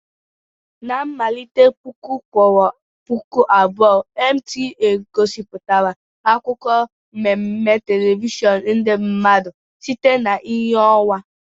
Na mmalite puku kwuru puku abụọ NTA gosipụtara akụkọ mmemme telivishọn ndị mmadụ site na ìhè ọnwa.